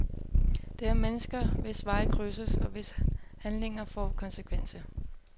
Det er mennesker, hvis veje krydses, og hvis handlinger får konsekvenser.